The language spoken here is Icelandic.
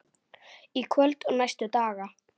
Í kvöld og næstu daga?